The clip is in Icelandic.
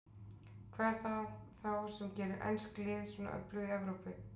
Hvað er það þá sem gerir ensk lið svona öflug í Evrópu?